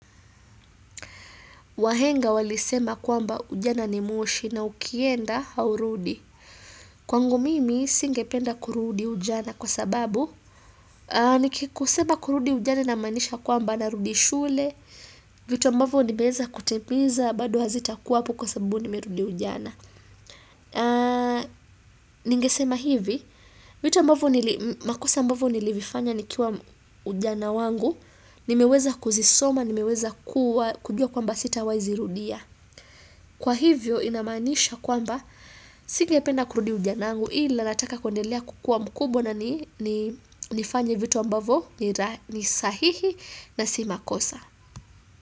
Wahenga walisema kwamba ujana ni moshi na ukienda haurudi. Kwangu mimi, singependa kurudi ujana kwa sababu, nikikuseba kurudi ujana namaanisha kwamba narudi shule, vitu ambavu nimeweza kutimiza, bado hazitakuwapo kwa sababu nimerudi ujana. Ningesema hivi, vitu ambavyo nilivifanya nikiwa ujana wangu, nimeweza kuzisoma, nimeweza kujua kwamba sitawahi zirudia. Kwa hivyo inamaanisha kwamba singependa kurudi ujana wangu ila nataka kuendelea kukua mkubwa na nifanye vitu ambavo ni sahihi na si makosa.